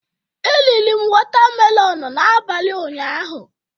Eriri m watamelọn n'abalị ụnyaahụ.